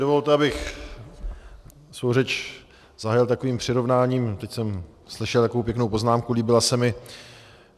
Dovolte, abych svou řeč zahájil takovým přirovnáním, teď jsem slyšel takovou pěknou poznámku, líbila se mi.